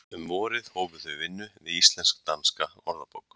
Um vorið hófu þau vinnu við Íslensk-danska orðabók.